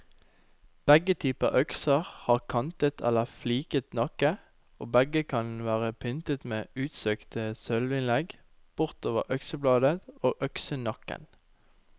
Begge typer økser har kantet eller fliket nakke, og begge kan være pyntet med utsøkte sølvinnlegg bortover øksebladet og øksenakken.